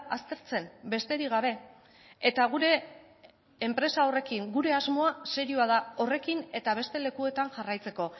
aztertzen besterik gabe eta gure enpresa horrekin gure asmoa serioa da horrekin eta beste lekuetan jarraitzeko